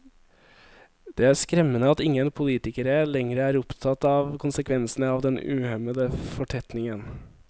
Det er skremmende at ingen politikere lenger er opptatt av konsekvensene av den uhemmede fortetningen.